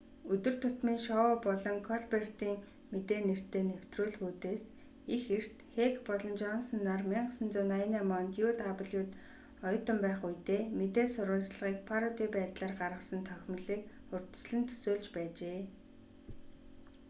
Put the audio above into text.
өдөр тутмын шоу болон колбертын мэдээ нэртэй нэвтрүүлгүүдээс их эрт хэк болон жонсон нар 1988 онд uw-д оюутан байх үедээ мэдээ сурвалжлагыг пароди байдлаар гаргасан товхимолыг урьдчилан төсөөлж байжээ